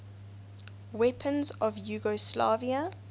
weapons of yugoslavia